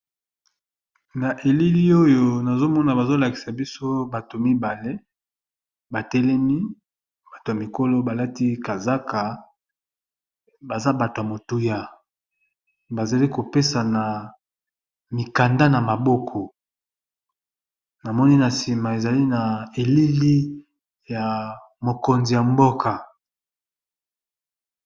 na elili oyo nazomona bazolakisa biso bato mibale batelemi bato ya mikolo balati kazaka baza batw a motuya bazali kopesa na mikanda na maboko namoni na nsima ezali na elili ya mokonzi ya mboka